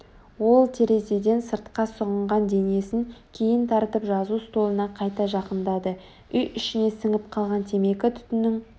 ол терезеден сыртқа сұғынған денесін кейін тартып жазу столына қайта жақындады Үй ішіне сіңіп қалған темекі түтінінің